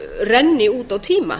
renni út á tíma